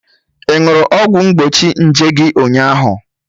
Ị ṅụrụ ọgwụ mgbochi nje gị ụnyaahụ?